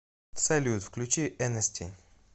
салют включи энести